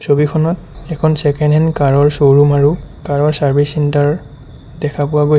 ছবিখনত এখন second hand car ৰ শ্ব'ৰূম আৰু কাৰ ৰ চাৰ্ভিচ চেন্টাৰ দেখা পোৱা গৈছে।